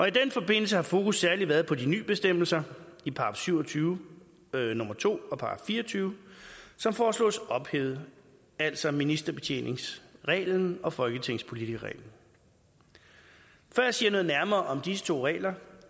i den forbindelse har fokus særlig været på de nye bestemmelser i § syv og tyve nummer to og § fire og tyve som foreslås ophævet altså ministerbetjeningsreglen og folketingspolitikerreglen før jeg siger noget nærmere om disse to regler